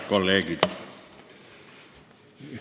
Kolleegid!